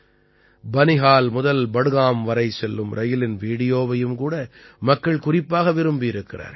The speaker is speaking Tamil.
பனிஹால் முதல் பட்காம் வரை செல்லும் ரயிலின் வீடியோவையும் கூட மக்கள் குறிப்பாக விரும்பியிருக்கிறார்கள்